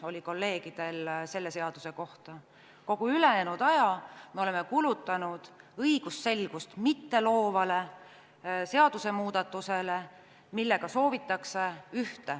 Kolleegidel oli selle seaduse kohta üks küsimus, kogu ülejäänud aja oleme kulutanud õigusselgust mitteloovale seadusemuudatusele, millega soovitakse ühte.